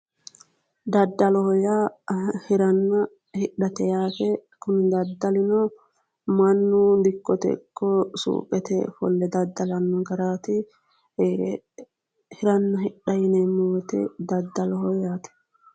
Daddaloho yaa hiranna hidhate yaate. kuni daddalino mannu dikkote ikko suuqete ofolle dadadlanno garaati, hiranna hidha yineemmo wote daddaloho yaate.